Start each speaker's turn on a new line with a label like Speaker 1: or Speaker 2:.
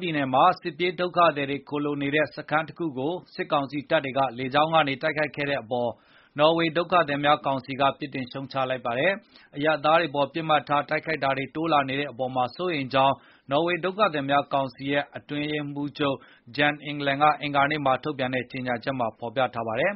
Speaker 1: ပြည်နယ်မှာ စစ်ပြေးဒုက္ခသည်တွေ ခိုလှုံနေတဲ့ စခန်းတခုကို စစ်ကောင်စီတပ်တွေ လေကြောင်းကနေ တိုက်ခိုက်ခဲ့တဲ့အပေါ် နော်ဝေဒုက္ခသည်များကောင်စီက ပြစ်တင်ရှုတ်ချလိုက်ပါတယ်။ အရပ်သားတွေအပေါ် ပစ်မှတ်ထား တိုက်ခိုက်မှုတွေ တိုးလာနေတဲ့အပေါ် စိုးရိမ်ကြောင်းလည်း နော်ဝေဒုက္ခသည်များကောင်စီ အတွင်းရေးမှူးချုပ် Jan Egeland က အင်္ဂါနေ့မှာ ထုတ်ပြန်တဲ့ ကြေညာချက်မှာ ပြောဆိုထားပါတယ်။